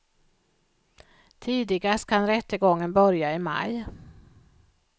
Tidigast kan rättegången börja i maj.